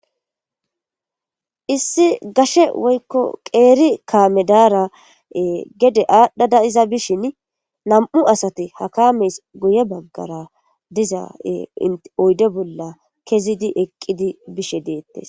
Issi gashe woyiko qeri kame de'ara gede adhada iza bishin na'mu sati ha kamezi guye bagara de'iza oyide bolla utidi bishe de'etes